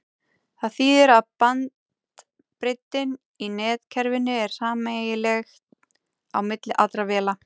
það þýðir að bandbreiddin í netkerfinu er sameiginleg á milli allra véla